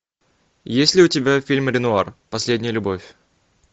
есть ли у тебя фильм ренуар последняя любовь